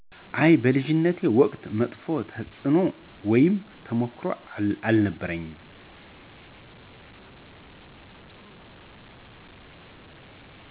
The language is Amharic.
አይ፣ በልጅነቴ ወቅት መጥፎ ተፅዕኖ ውይም ተሞክሮ አልነበረኝም።